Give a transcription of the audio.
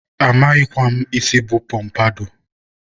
amaghịkwa m isi bụ pọmpadọ